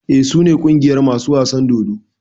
Eh su ne ƙungiyar masu wasan dodo.